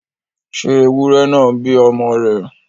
ṣé ewúrẹ náà ń bí ọmọ rẹ̀?